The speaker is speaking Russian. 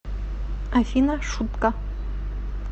афина шутка